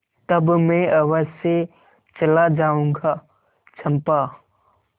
तब मैं अवश्य चला जाऊँगा चंपा